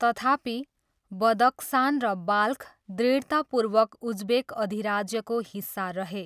तथापि, बदक्सान र बाल्ख दृढतापूर्वक उज्बेक अधिराज्यको हिस्सा रहे।